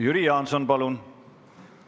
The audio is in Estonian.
Jüri Jaanson, palun!